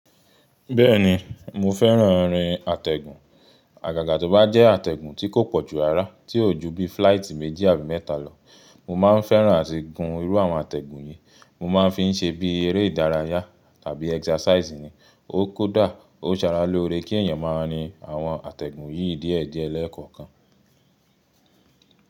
Bẹ́ẹ̀ni mo fẹ́ràn rín àtẹ̀gùn, àgàgà tó bá jẹ́ àtẹ̀gùn tí kò pọ̀ ju rara tí ò ju bí fíláìtì méjì àbí mẹ́ta lọ. Mo máa ń fẹ́ràn àti gun irú àwọn àtẹ̀gùn yìí, mo máa ń fi ń ṣe bí eré ìdárayá tàbí ẹksàsàìsì ni. Ó kódà ó Sara lóore kí èyàn máa ní àwọn àtẹ̀gùn yìí díẹ̀díẹ̀ lẹ́ẹ̀kọ̀kan.